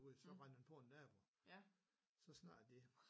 Ude så rendte han på en nabo så snakkede de